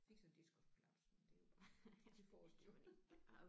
Fik så diskusprolaps men det er jo bare det får de jo